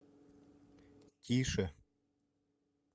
тише